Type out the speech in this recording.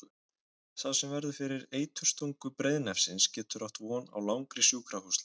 Sá sem verður fyrir eiturstungu breiðnefsins getur átt von á langri sjúkrahúslegu.